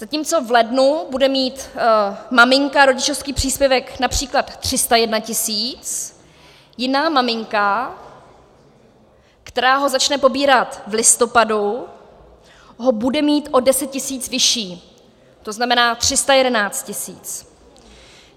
Zatímco v lednu bude mít maminka rodičovský příspěvek například 301 tisíc, jiná maminka, která ho začne pobírat v listopadu, ho bude mít o 10 tisíc vyšší, to znamená 311 tisíc.